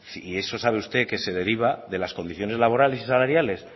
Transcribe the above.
y eso sabe usted que se deriva de las condiciones laborales y salariales